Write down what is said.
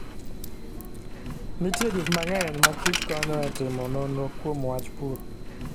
Nitie gik mang'eny ma kich konyo e timo nonro kuom wach pur.